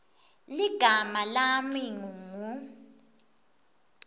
ligama lami ngingu